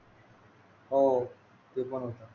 हो हो ते पण होतं